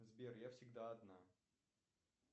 сбер я всегда одна